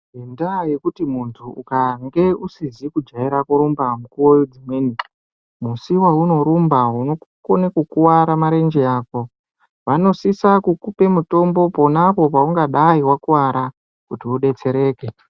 Ngendaa yekuti muntu ukange usizi kujaira kurumba mukuwo dzimweni. Musi weunorumba unokona kukuwara marenje ako. Vanosise kukupa mutombo ponapo paungadai wakuwara kuti udetsereke.